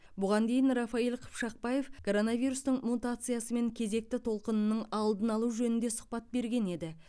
бұған дейін рафаиль қыпшақбаев коронавирустың мутациясы мен кезекті толқынының алдын алу жөнінде сұхбат берген еді